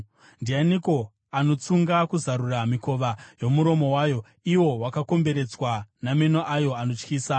Ndianiko anotsunga kuzarura mikova yomuromo wayo, iwo wakakomberedzwa nameno ayo anotyisa?